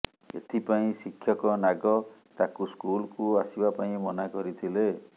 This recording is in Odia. ଏଥିପାଇଁ ଶିକ୍ଷକ ନାଗ ତାକୁ ସ୍କୁଲକୁ ଆସିବା ପାଇଁ ମନା କରିଥିଲେ